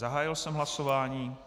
Zahájil jsem hlasování.